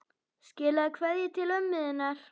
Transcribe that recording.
Skilaðu kveðju til ömmu þinnar.